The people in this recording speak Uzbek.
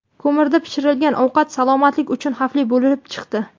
Ko‘mirda pishirilgan ovqat salomatlik uchun xavfli bo‘lib chiqdi.